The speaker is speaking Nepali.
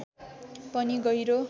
पनि गहिरो